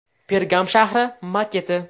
Pergam shahri maketi.